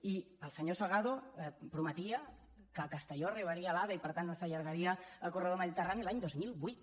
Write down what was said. i el senyor salgado prometia que a castelló arribaria l’ave i per tant no s’allargaria el corredor mediterrani l’any dos mil vuit